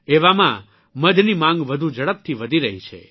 એવામાં મધની માંગ વધુ ઝડપથી વધી રહી છે